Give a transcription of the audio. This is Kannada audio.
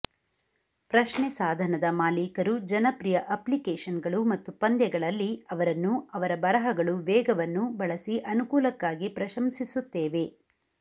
ಪ್ರಶ್ನೆ ಸಾಧನದ ಮಾಲೀಕರು ಜನಪ್ರಿಯ ಅಪ್ಲಿಕೇಷನ್ಗಳು ಮತ್ತು ಪಂದ್ಯಗಳಲ್ಲಿ ಅವರನ್ನು ಅವರ ಬರಹಗಳು ವೇಗವನ್ನು ಬಳಸಿ ಅನುಕೂಲಕ್ಕಾಗಿ ಪ್ರಶಂಸಿಸುತ್ತೇವೆ